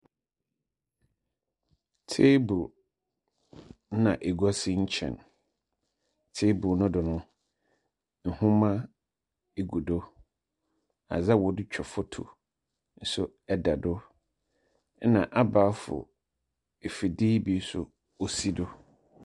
Teebol nna egua si kyɛn. Teebol no do no nwoma egu do. Adze a wɔde twa foto nso eda do ɛna abɛɛfo efidie yi bi so osi do.